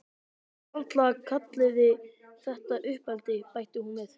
Varla kalliði þetta uppeldi, bætti hún við.